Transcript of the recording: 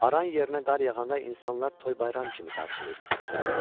Aran yerlərinə qar yağanda insanlar toy-bayram kimi qarşılayır bu qarı.